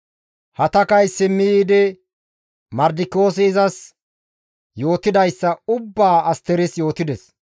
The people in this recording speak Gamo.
Hatakay simmi yiidi Mardikiyoosi izas yootidayssa ubbaa Asteris yootides.